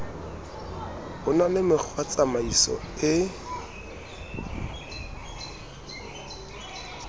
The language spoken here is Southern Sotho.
ho na le mekgwatsamaiso e